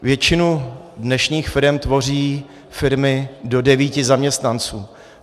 Většinu dnešních firem tvoří firmy do devíti zaměstnanců.